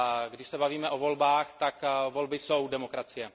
Když se bavíme o volbách, tak volby jsou demokracie.